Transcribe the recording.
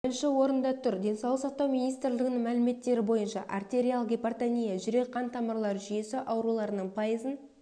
бірінші орында тұр денсаулық сақтау министрлігінің мәліметтері бойынша артериалық гипертония жүрек қан тамырлары жүйесі ауруларының пайызын